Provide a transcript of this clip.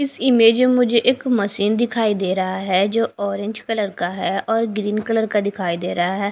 इस इमेज में मुझे एक मशीन दिखाई दे रहा है जो ऑरेंज कलर का है और ग्रीन कलर का दिखाई दे रहा है।